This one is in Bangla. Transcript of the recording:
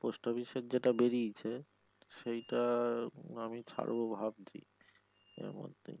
post office এর যেটা বেড়িয়েছে সেইটা আমি ছাড়ব ভাবছি এর মধ্যে।